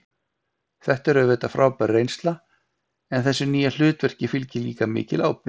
Þetta er auðvitað frábær reynsla en þessu nýja hlutverki fylgir líka mikil ábyrgð.